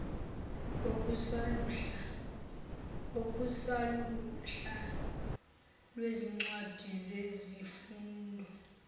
okusaluhla lwezincwadi zesifundo